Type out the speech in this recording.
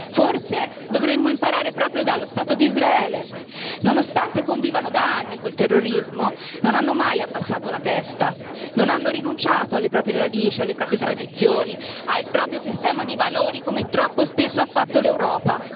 Forse dovremmo imparare proprio dallo Stato di Israele, dove nonostante convivano da anni con il terrorismo non hanno mai abbassato la testa, non hanno rinunciato alle proprie radici, alle proprie tradizioni, al proprio sistema di valori, come troppo spesso ha fatto l'Europa.